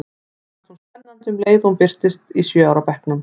Mér fannst hún spennandi um leið og hún birtist í sjö ára bekknum.